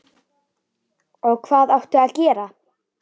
Og hvað áttu að gera?